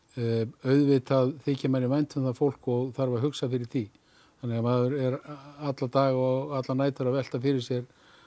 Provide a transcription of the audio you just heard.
auðvitað þykir manni vænt um það fólk og þarf að hugsa fyrir því þannig að maður er alla daga og allar nætur að velta fyrir sér